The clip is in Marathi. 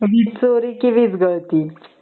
वीज चोरी की वीज गळती